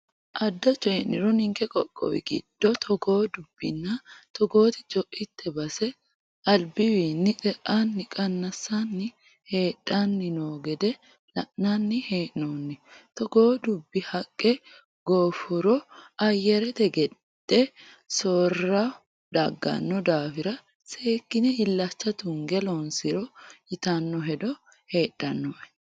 Adda coyi'niro ninke qoqqowi giddo togoo dubbinna togoti coite base albiwinni te"ani qanasanni hadhanni no gede la'nanni hee'nonni togo dubbi haqqe golfuro ayarete gade soorro dagano daafira seekkine illacha tunge loonsiro ytano hedo heedhanoe